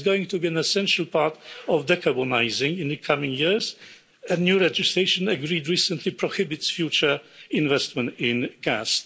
Gas is going to be an essential part of decarbonising in the coming years, and new legislation agreed recently prohibits future investment in gas.